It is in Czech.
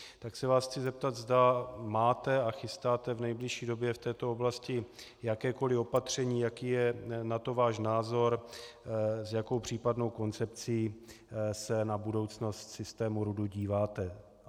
Tak se vás chci zeptat, zda máte a chystáte v nejbližší době v této oblasti jakékoli opatření, jaký je na to váš názor, s jakou případnou koncepcí se na budoucnost systému RUD díváte.